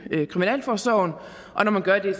kriminalforsorgen og når man gør det